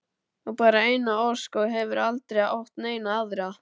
Á bara eina ósk og hefur aldrei átt neina aðra.